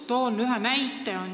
Toon ühe näite.